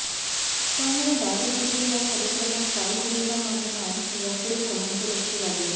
त्यामुळे राज ठाकरे या कार्यक्रमात काय भूमिका मांडणार याकडे सर्वांचं लक्ष लागलंय